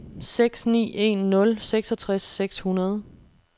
seks ni en nul seksogtres seks hundrede